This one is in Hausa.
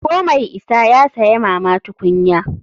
Ko mai isa ya saya mama tukunya.